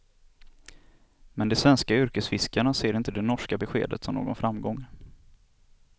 Men de svenska yrkesfiskarna ser inte det norska beskedet som någon framgång.